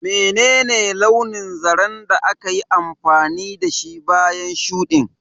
Menene launin zaren da aka yi amfani da shi bayan shuɗin?